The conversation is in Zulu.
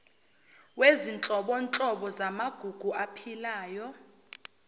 wezinhlobonhlobo zamagugu aphilayo